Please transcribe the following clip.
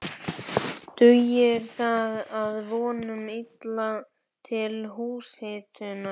Dugir það að vonum illa til húshitunar.